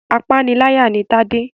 Apániláyà ni Tade.